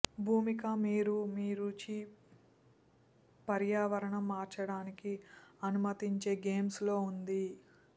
భూమిక మీరు మీ రుచి పర్యావరణం మార్చడానికి అనుమతించే గేమ్ప్లే ఉంది